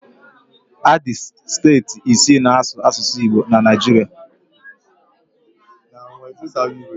Adị steeti ise na asụ asụsụ Igbo na Naijiria